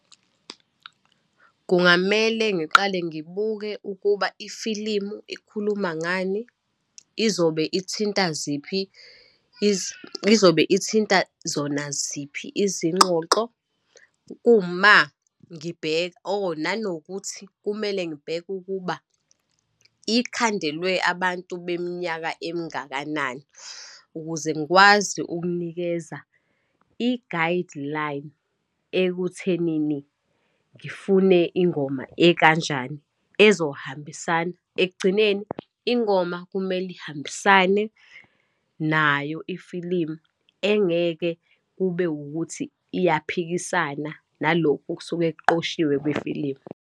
Kungamele ngiqale ngibuke ukuba ifilimu ikhuluma ngani, izobe ithinta ziphi, izobe ithinta zona ziphi izingxoxo kuma ngibheka or nanokuthi kumele ngibheke ukuba ikhandelwe abantu beminyaka emingakanani, ukuze ngikwazi ukunikeza i-guideline ekuthenini ngifune ingoma ekanjani, ezohambisana. Ekugcineni ingoma kumele ihambisane nayo ifilimu, engeke kube ukuthi iyaphikisana nalokhu okusuke kuqoshiwe kwefilimu.